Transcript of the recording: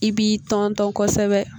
I b'i tɔntɔn kosɛbɛ